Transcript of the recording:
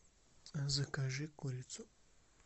закажи курицу